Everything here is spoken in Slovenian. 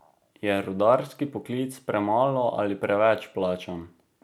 Je rudarski poklic premalo ali preveč plačan?